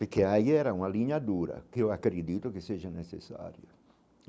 Porque aí era uma linha dura, que eu acredito que seja necessário.